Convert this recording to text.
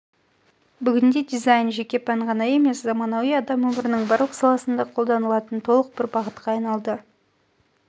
бүгінде дизайн жеке пән ғана емес заманауи адам өмірінің барлық саласында қолданылатын толық бір бағытқа айналды